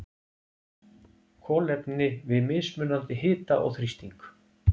kolefni við mismunandi hita og þrýsting